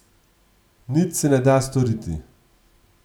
Nič se ne da storiti.